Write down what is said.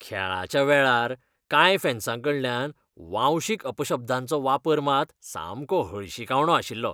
खेळाच्या वेळार कांय फॅन्सांकडल्यान वांशिक अपशब्दांचो वापर मात सामको हळशिकावणो आशिल्लो.